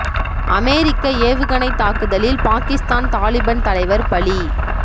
அமெரிக்க ஏவுகணைத் தாக்குதலில் பாகிஸ்தான் தாலிபன் தலைவர் பலி